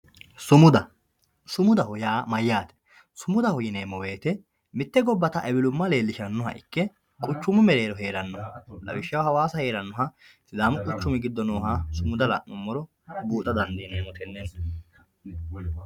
sumuda sumudaho yaa mayyate sumudaho yineemmo woyte mitte gobbata ewelumma leellishshannoha ikke quchumu mereero heerannoha lawishshaho hawaasa heerannoha lamu quchumi giddo nooha sumuda la'nummoro buuxa dandiineemmo tenneno